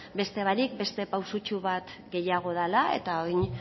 beste barik beste pausutxo bat gehiago dala eta orain